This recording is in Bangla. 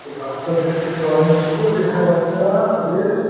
এটি বাচ্ছাদের একটি ড্রয়িং স্কুল এখানে বাচ্চারা-আ তাদের --